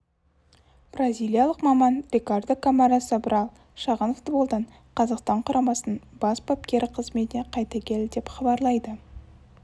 бразилиялық маман рикардо камара собрал шағын футболдан қазақстан құрамасының бас бапкері қызметіне қайта келді деп хабарлайды